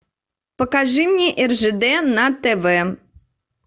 покажи мне ржд на тв